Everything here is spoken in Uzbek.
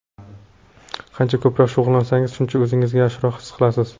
Qancha ko‘proq shug‘ullansangiz, shuncha o‘zingizni yaxshiroq his qilasiz.